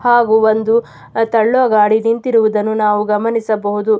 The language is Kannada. ಹಾಗು ಒಂದು ತಳ್ಳುವ ಗಾಡಿ ನಿಂತಿರುವುದನ್ನು ನಾವು ಗಮನಿಸಬಹುದು.